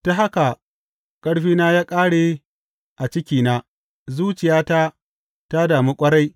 Ta haka ƙarfina ya ƙare a cikina zuciyata ta damu ƙwarai.